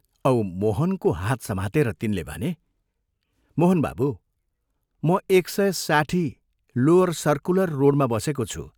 " औ मोहनको हात समातेर तिनले भने, "मोहन बाबू, म एक सय साठी, लोअर सर्कुलर रोडमा बसेको छु।